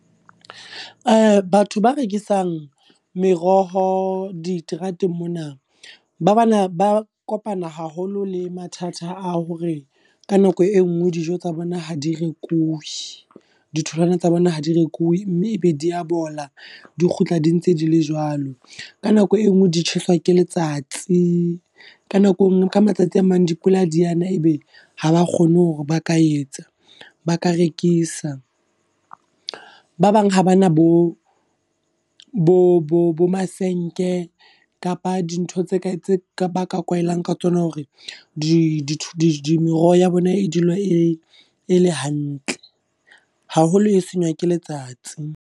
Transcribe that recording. Batho ba rekisang meroho diterateng mona, ba bana ba kopana haholo le mathata a hore ka nako e nngwe dijo tsa bona ha di rekuwi. Ditholwana tsa bona ha di rekuwi. Mme e be di ya bola, di kgutla di ntse di le jwalo. Ka nako e nngwe di tjheswa ke letsatsi, ka nako e nngwe ka matsatsi a mang dipula di a na, e be ha ba kgone hore ba ka etsa ba ka rekisa. Ba bang ha ba na bo bo masenke kapa dintho tse baka kwaelang ka tsona hore di di meroho ya bona e dule e le hantle. Haholo e senywa ke letsatsi.